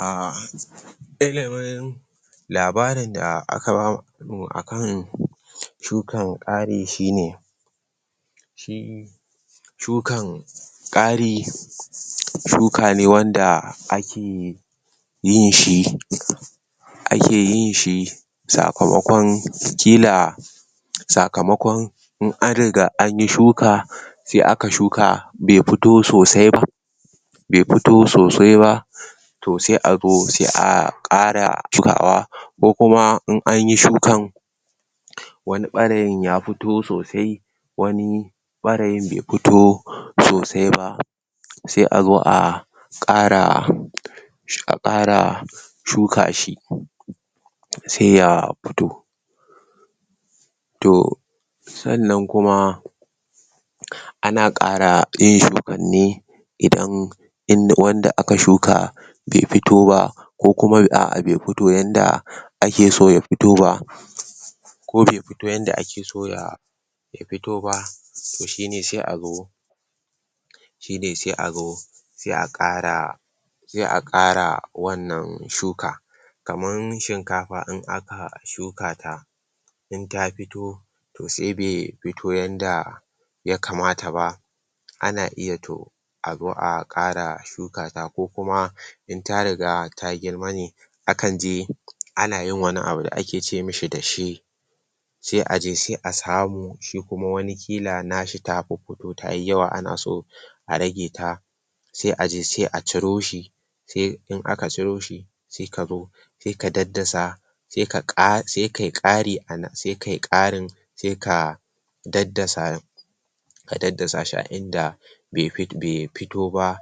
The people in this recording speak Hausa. ah??? labarin da aka bamu akan shukan kari shine shi shukan kari shuka ne wanda ake yinshi ake yinshi sakamakon kila sakamakon in an riga anyi anyi shuka sai aka shuka bai fito sosaiba bai fito sosaiba to sai a zo, sai aa kara shukawa ko kuma in anyi shukan wani barin ya fito sosai wani barin bai fito sosai ba sai a zo a a kara a kara shuka shi sai ya fito to san nan kuma ana kara yin shukanne idan wanda aka shuka bai fito ba ko kuma a, a bai fito ba, yadda ake so ya fito ba ko bai fito ba yadda ake so yaa ya fito ba to shine sai a zo to shine sai azo sai a kara sai a kara wannan, shuka, kaman shinkafa in aka shukata in ta fito to sai bai fito yadda yakamata ba ana iya to a zo a kara shuka ta ko kuma in ta riga ta, girma ne akan je akan yi wani abu da ake ceami dashe sai aje sai a samu shi kuma wani kila nashi ta fito tayi yawa, ana so a raje ta sai aje sai a ciroshi in aka ciroshi sai ka zo sai ka daddasa sai ka kara, sai kayi, kari anan, sai kayi karin sai ka daddasa ka daddashi a inda bai bai fito ba